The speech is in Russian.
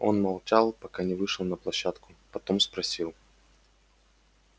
он молчал пока не вышел на площадку потом спросил